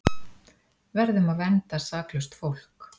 Verðum að vernda saklaust fólk